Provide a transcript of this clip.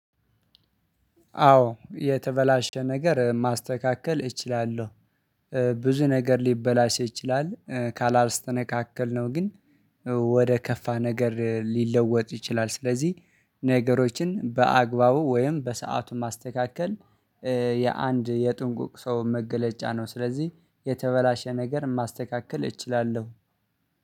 አዎ የተበላሸ ነገር ማስተካከል እችላለሁ። ብዙ ነገር ሊበላሽ ይችላል ካላስተነካከልነው ግን ወደ ከፋ ነገር ሊለወጥ ይችላል። ስለዚህ ነገሮችን በአግባቡ ወይም በሰአቱ ማስተካከል። የአንድ የጥንቁቅ ሰው መገለጫ ነው። ስለዚህ የተበላሸ ነገር ማስተካከል እችላለሁ